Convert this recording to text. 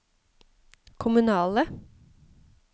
kommunale